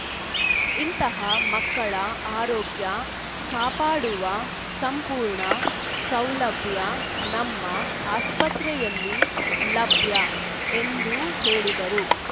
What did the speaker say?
ಇಂತಹ ಮಕ್ಕಳ ಆರೋಗ್ಯ ಕಾಪಾಡುವ ಸಂಪೂರ್ಣ ಸೌಲಭ್ಯ ನಮ್ಮ ಆಸ್ಪತ್ರೆಯಲ್ಲಿ ಲಭ್ಯ ಎಂದು ಹೇಳಿದರು